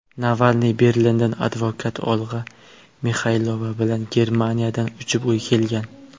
Navalniy Berlindan advokat Olga Mixaylova bilan Germaniyadan uchib kelgan.